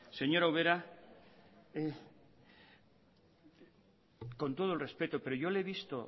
señora ubera con todo el respeto pero yo le he visto